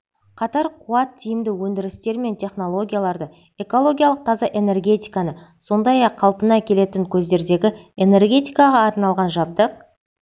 қатар қуат тиімді өндірістер мен технологияларды экологиялық таза энергетиканы сондай-ақ қалпына келетін көздердегі энергетикаға арналған жабдық